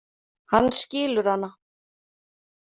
Hann skilur hana.